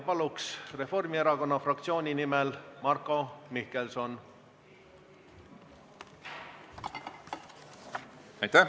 Palun Reformierakonna fraktsiooni nimel kõnelema Marko Mihkelsoni!